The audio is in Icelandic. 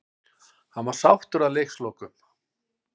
Hann var sáttur að leikslokum.